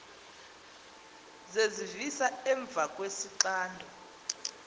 zezivisa emva kwesixando